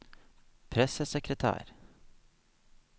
pressesekretær